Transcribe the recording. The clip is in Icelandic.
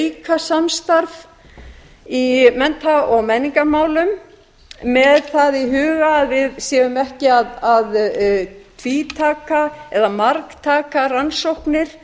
auka samstarf í mennta og menningarmálum með það í huga að við séum ekki að tvítaka eða margtaka rannsóknir